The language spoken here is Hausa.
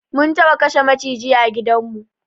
Mun taɓa kashe maciji a gidan mu